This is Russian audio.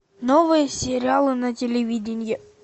новые сериалы на телевидении